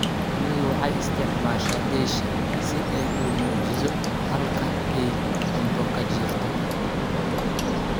Shinnidu waxay isticmaashaa "dheesha" si ay u muujiso halka ay cunto ka jirto.